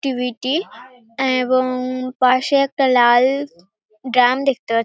TV. -টি এবং পাশে একটা লাল ড্রাম দেখতে পা--